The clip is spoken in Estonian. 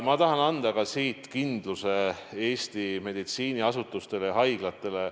Ma tahan anda siinkohal kindluse Eesti meditsiiniasutustele ja haiglatele.